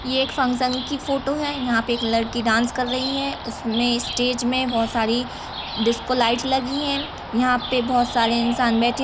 ये एक फंक्शन की फोटो है। यहाँ पर एक लड़की डान्स कर रही है। उसमे स्टेज मे बहुत सारी डिस्को लाइटस लगी है। यहाँ पे बहुत सारे इंसान बैठे --